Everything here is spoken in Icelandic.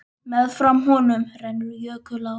Meðfram honum rennur jökulá.